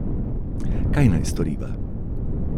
Kaj naj storiva?